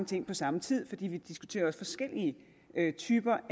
ting på samme tid for vi diskuterer også forskellige typer